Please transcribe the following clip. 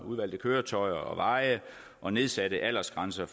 udvalgte køretøjer og veje og nedsatte aldersgrænser